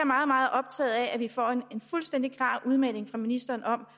meget meget optaget af at vi får en fuldstændig klar udmelding fra ministeren om